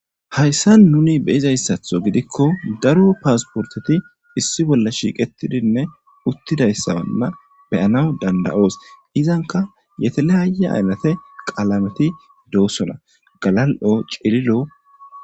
Hayssa nuni beyizayssaththo gidikko daro paasporteti issi bolla shiiqetidinne uttidayssanne be'anas dandayoos izanka yetelehaaye aynate qalameti doossona galal'o cililo